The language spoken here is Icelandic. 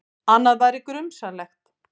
Annað væri grunsamlegt.